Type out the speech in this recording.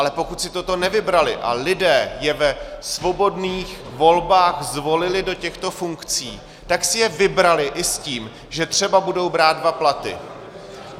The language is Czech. Ale pokud si toto nevybrali a lidé je ve svobodných volbách zvolili do těchto funkcí, tak si je vybrali i s tím, že třeba budou brát dva platy.